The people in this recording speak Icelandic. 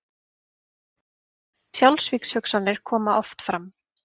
Sjálfsvígshugsanir koma oft fram.